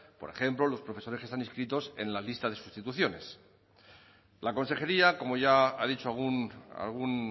por ejemplo los profesores que están inscritos en las listas de sustituciones la consejería como ya ha dicho algún